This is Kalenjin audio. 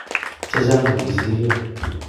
che chang ko kisiryo